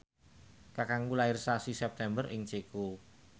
kakangku lair sasi September ing Ceko